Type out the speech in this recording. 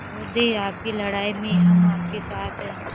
महोदय आपकी लड़ाई में हम आपके साथ हैं